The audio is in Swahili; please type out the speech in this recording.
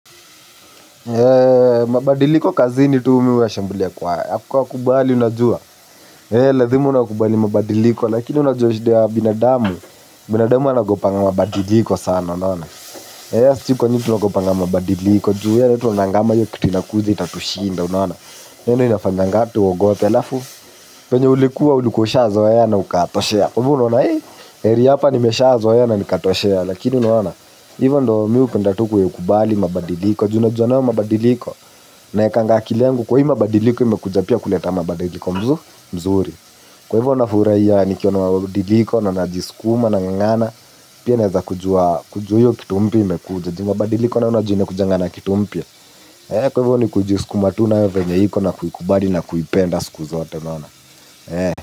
Mabadiliko kazini tu mimi huwashambulia kwa kukubali unajua. Lazima unakubali mabadiliko, lakini unajua shida ya binadamu. Binadamu anaogopanga mabadiliko sana, unaona. Sijui kwa nini tunaogopanga mabadiliko, juu yo tunaonanga kama hiyo kitu inakuja itatushinda unaona? Hiyo ndo inafanyanga tuogope. Alafu penye ulikuwa ulikuwa ushazoea na ukatoshea. Kwa hivo unaona ee, heri hapa nimeshazoea na nikatoshea, lakini unaona. Hivo ndo mi hupenda tu kuikubali mabadiliko. Ju najua nayo mabadiliko naekanga akili yangu kuwa hii mabadiliko yamekuja pia kuleta mabadiliko mzuri. Kwa hivyo nafurahia nikiona mabadiliko na najisukuma nang'ang'ana. Pia naeza kujua kitu hiyo mpya imekuja ju mabadiliko nayo unajua inakujanga na kitu mpya. Kwa hivyo ni kujisukuma tu nayo venye iko na kuikubali na kuipenda siku zote bana.